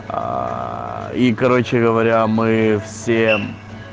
аа и короче говоря мы все